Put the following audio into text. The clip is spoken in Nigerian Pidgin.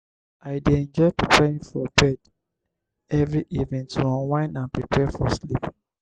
i dey enjoy preparing for bed every evening to unwind and prepare for sleep.